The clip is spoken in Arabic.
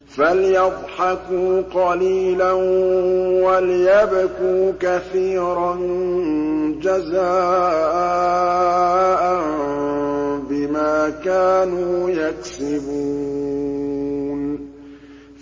فَلْيَضْحَكُوا قَلِيلًا وَلْيَبْكُوا كَثِيرًا جَزَاءً بِمَا كَانُوا يَكْسِبُونَ